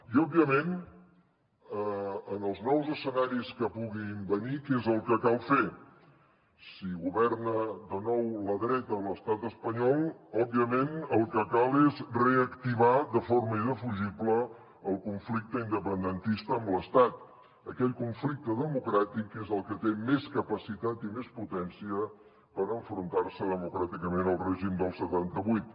i òbviament en els nous escenaris que puguin venir què és el que cal fer si governa de nou la dreta a l’estat espanyol òbviament el que cal és reactivar de forma indefugible el conflicte independentista amb l’estat aquell conflicte democràtic que és el que té més capacitat i més potència per enfrontar se democràticament al règim del setanta vuit